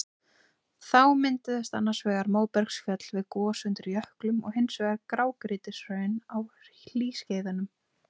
Þá mynduðust annars vegar móbergsfjöll við gos undir jöklum og hins vegar grágrýtishraun á hlýskeiðum.